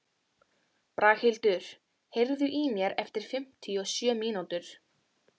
Braghildur, heyrðu í mér eftir fimmtíu og sjö mínútur.